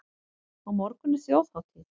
Á morgun er þjóðhátíð.